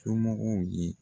Somɔgɔw ye